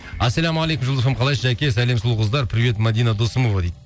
ассалаумағалейкум жұлдыз эф эм қалайсыз жәке сәлем сұлу қыздар привет мадина досымова дейді